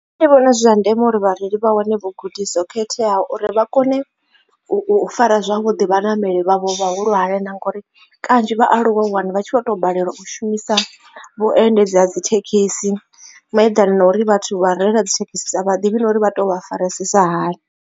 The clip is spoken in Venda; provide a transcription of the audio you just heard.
Nṋe ndi vhona zwi zwa ndeme uri vhareili vha wane vhugudisi ho khetheaho uri vha kone u fara zwavhuḓi vhaṋameli vhavho vhahulwane na ngori kanzhi vhaaluwa u wana vha tshi vho tou balelwa u shumisa vhuendedzi ha dzi thekhisi malugana na uri vhathu vha u reila dzi thekhisi a vha ḓivhi na uri vha to vha farisasa hani.